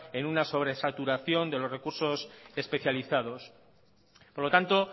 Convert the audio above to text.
en una sobresaturación de los recursos especializados por lo tanto